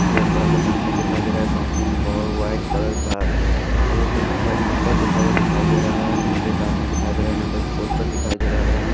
यह एक बड़ा सा कंपनी दिखाई दे रहा है कंपनी में बहुत व्हाईट कलर का आगे कुछ दिखाई नंबर लिखा हुआ दिखाई दे रहा है यहाँ पे एक आदमी दिखाई दे रहा है यहाँ पे एक पोस्टर दिखाई दे रहा है।